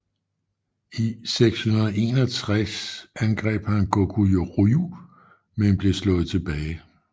I 661 angreb han Goguryeo men blev slået tilbage